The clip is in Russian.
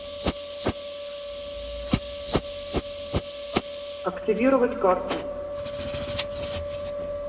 активировать карту